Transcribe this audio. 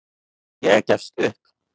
Ég gefst upp.